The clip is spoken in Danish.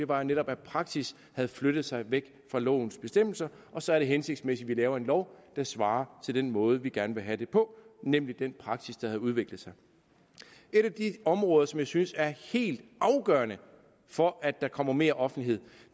var jo netop at praksis havde flyttet sig væk fra lovens bestemmelser og så er det hensigtsmæssigt at vi laver en lov der svarer til den måde vi gerne vil have det på nemlig den praksis der havde udviklet sig et af de områder som jeg synes er helt afgørende for at der kommer mere offentlighed